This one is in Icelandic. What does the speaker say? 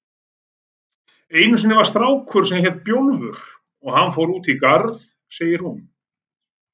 Einu sinni var strákur sem hét Bjólfur og hann fór út í garð, segir hún.